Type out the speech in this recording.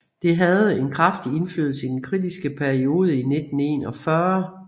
Det havde en kraftig indflydelse i den kritiske periode i 1941